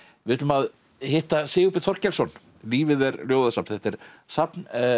við ætlum að hitta Sigurbjörn Þorkelsson lífið er ljóðasafn þetta er safn